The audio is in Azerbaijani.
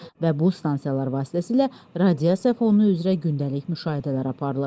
Və bu stansiyalar vasitəsilə radiasiya fonu üzrə gündəlik müşahidələr aparılır.